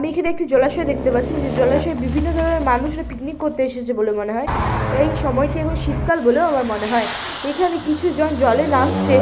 আমি এখানে একটি জলাশয় দেখতে পাচ্ছি যে জলাশয়ে বিভিন্ন ধরনের মানুষেরা পিকনিক করতে এসেছে বলে মনে হয় এই সময়টি এখন শীতকাল বলেও আমার মনে হয় এখানে কিছু জন জলে নামছে--